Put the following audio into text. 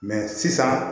sisan